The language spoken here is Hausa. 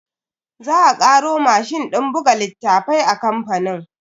Za a karo mashin din buga littafai a kamfanin.